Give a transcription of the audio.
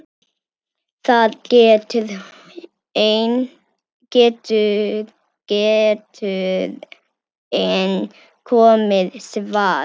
Það getur enn komið svar!